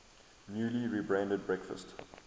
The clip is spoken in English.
newly rebranded breakfast